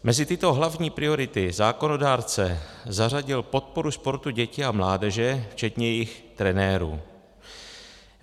Mezi tyto hlavní priority zákonodárce zařadil podporu sportu dětí a mládeže, včetně jejich trenérů.